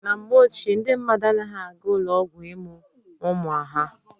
Na mgbe ochie, ndị mmadụ anaghị aga ụlọ ọgwụ ịmụ ụmụ ha.